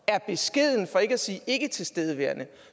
er beskeden for ikke at sige ikke tilstedeværende